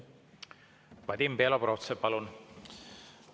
Vadim Belobrovtsev, palun!